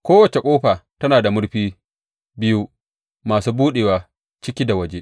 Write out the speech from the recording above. Kowace ƙofa tana da murfi biyu masu buɗewa ciki da waje.